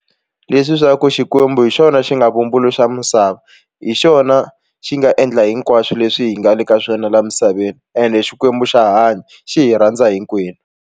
Leswi swa ku Xikwembu hi xona xi nga vumbuluxa misava hi xona xi nga endla hinkwaswo leswi hi nga le ka swona laha misaveni ende Xikwembu xa hanya xi hi rhandza hinkwenu.